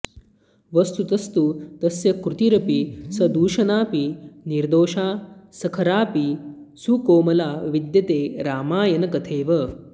वस्तुतस्तु तस्य कृतिरपि सदूषणाऽपि निर्दोषा सखराऽपि सुकोमला विद्यते रामायण कथेव